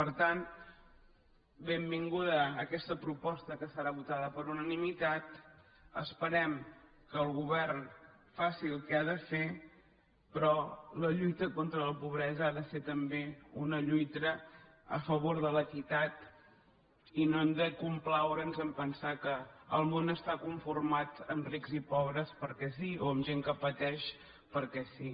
per tant benvinguda aquesta proposta que serà votada per unanimitat esperem que el govern faci el que ha de fer però la lluita contra la pobresa ha de ser també una lluita a favor de l’equitat i no han de complaure’s a pensar que el món està conformat per rics i pobres perquè sí o amb gent que pateix perquè sí